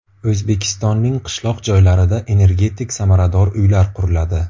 O‘zbekistonning qishloq joylarida energetik samarador uylar quriladi.